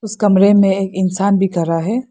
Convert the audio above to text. इस कमरे में एक इंसान भी खड़ा है।